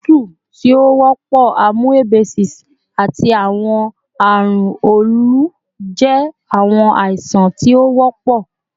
otutu ti o wọpọ, amoebiasis, ati awọn arun olu jẹ awọn aisan ti o wọpọ